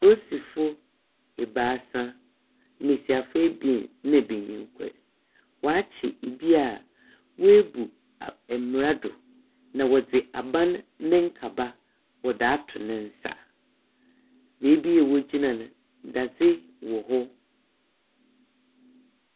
Polisifo ebiasa, mbasiafo ebien na banyin kor, wɔakye obi a woebu mbra do na wɔdze aban ne nkaba wɔ wɔdze ato ne nsa. Beeb a wogyina no, dadze wɔ hɔ.